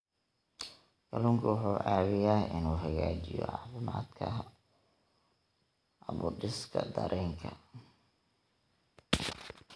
Kalluunku wuxuu caawiyaa inuu hagaajiyo caafimaadka habdhiska dareenka.